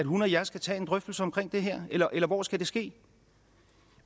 hun og jeg skal tage en drøftelse om det her eller eller hvor skal det ske